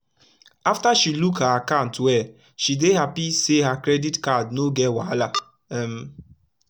afta she look her akat well she dey hapi say her credit card no get wahala um